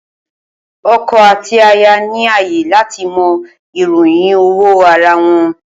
Oko àti aya ni ààyè láti mọ ìròyìn owó ara wọn